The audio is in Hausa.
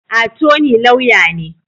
Attorney Lauya ne.